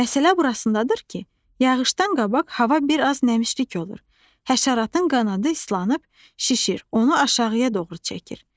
Məsələ burasındadır ki, yağışdan qabaq hava bir az nəmişlik olur, həşəratın qanadı islanıb, şişir, onu aşağıya doğru çəkir.